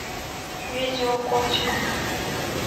видео котиков